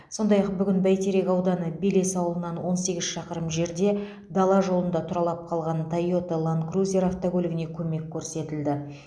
сондай ақ бүгін бәйтерек ауданы белес ауылынан он сегіз шақырым жерде дала жолында тұралап қалған тойота ланд крузер автокөлігіне көмек көрсетілді